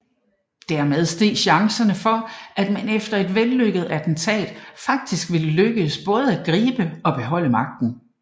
Dermed steg chancerne for at man efter et vellykket attentat faktisk ville lykkes både at gribe og beholde magten